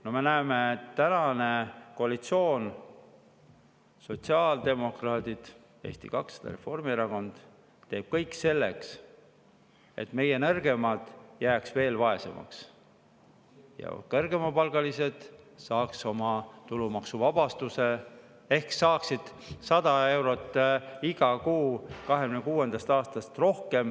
No me näeme, et tänane koalitsioon – sotsiaaldemokraadid, Eesti 200 ja Reformierakond – teeb kõik selleks, et meie nõrgemad jääks veel vaesemaks ja kõrgepalgalised saaks oma tulumaksuvabastuse ehk saaksid 100 eurot rohkem iga kuu alates 2026. aastast.